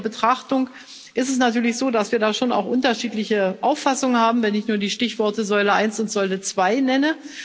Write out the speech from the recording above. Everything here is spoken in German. Bei näherer Betrachtung ist es natürlich so, dass wir da schon auch unterschiedliche Auffassungen haben, wenn ich nur die Stichworte Säule 1 und Säule 2 nenne.